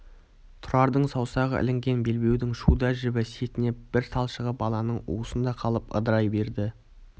тұрардың саусағы ілінген белбеудің шуда жібі сетінеп бір талшығы баланың уысында қалып ыдырай берді